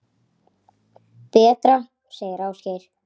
Betra, segir Ásgeir.